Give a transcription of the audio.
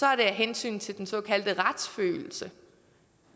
er det af hensyn til den såkaldte retsfølelse